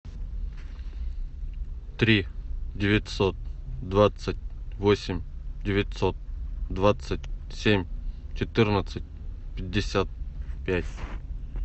три девятьсот двадцать восемь девятьсот двадцать семь четырнадцать пятьдесят пять